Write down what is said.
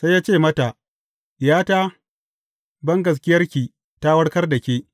Sai ya ce mata, Diyata, bangaskiyarki ta warkar da ke.